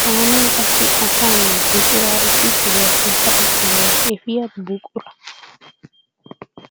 Kaame qassi asanne buqura issi sohuwappe hara sohuwa efiya buqura.